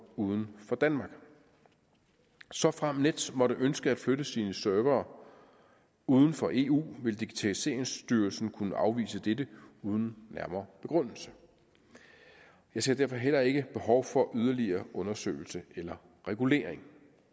uden for danmark såfremt nets måtte ønske at flytte sine servere uden for eu vil digitaliseringsstyrelsen kunne afvise dette uden nærmere begrundelse jeg ser derfor heller ikke behov for yderligere undersøgelse eller regulering